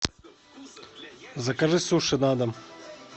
закажи суши на дом